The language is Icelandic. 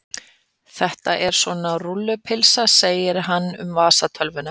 Þetta er svona rúllupylsa segir hann um vasatölvuna.